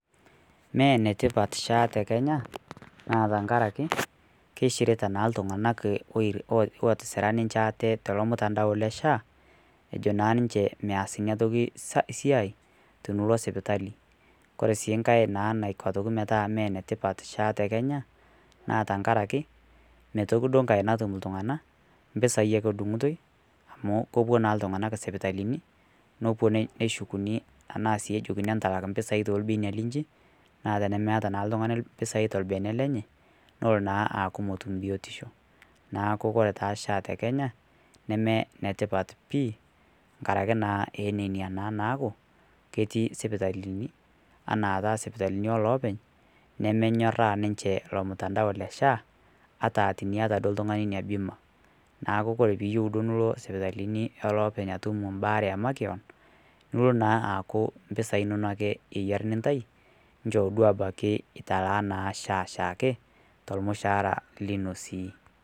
Mee netipaat SHA te Kenya naa tang'araki keishiritaa naa iltung'anak otisiira ninchee atee tolo mutandao le SHA ojoo naa ninchee meas enia ntoki sia tiniloo suputali. Kore sii naai naa naikoo aitokii metaa mee netipaat SHA te Kenya naa tang'araki mee tooki doo nkai natuum iltung'ana mpesai ake adung'utoi amu kopoo naa iltung'anak sipitalini neshukuni ana sii ejokii entalaak mpisai to lbenia linchii. Naa tene meeta naa ltung'ani mpisai to lbenia lenye noloo naa aku motuum biotisho. Naaku kore taa SHA te Kenya nimee ne tipaat pii ng'araki naa enenia naa naaku ketii sipitalini anaa taa sipitalini loopeny nemee nyooraa ninche lo mutandao e SHA ata tinieta doo ltung'ani nia bima. Naaku kore piiyeu ndo niloo sipitalini e loopeny atuum baare emakiong' niloo naa akaku mpisai enono eyaari nintai choo doo italaa abaki naa SHA shaake to lmusaara linoo sii.